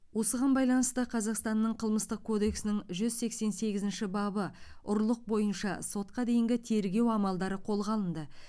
осыған байланысты қазақстанның қылмыстық кодексінің жүз сексен сегізінші бабы ұрлық бойынша сотқа дейінгі тергеу амалдары қолға алынды